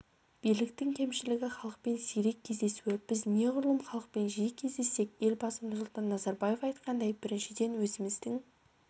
биліктің кемшілігі халықпен сирек кездесуі біз неғұрлым халықпен жиі кездессек елбасы нұрсұлтан назарбаев айтқандай біріншіден өзіміздің